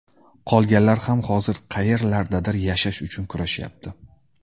Qolganlar ham hozir qayerlardadir yashash uchun kurashyapti.